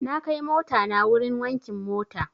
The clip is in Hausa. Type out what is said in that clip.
Na kai motana wurin wankin mota.